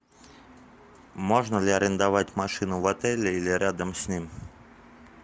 можно ли арендовать машину в отеле или рядом с ним